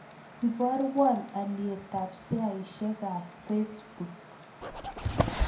Iboruon alyetap sheaisiekap facebook